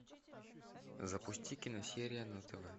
запусти киносерия на тв